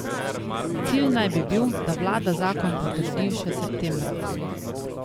Cilj naj bi bil, da vlada zakon potrdi še septembra.